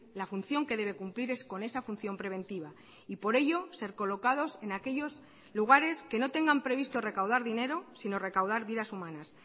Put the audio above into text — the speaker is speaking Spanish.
la función que debe cumplir es con esa función preventiva y por ello ser colocados en aquellos lugares que no tengan previsto recaudar dinero sino recaudar vidas humanas